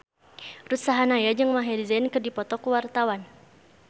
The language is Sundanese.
Ruth Sahanaya jeung Maher Zein keur dipoto ku wartawan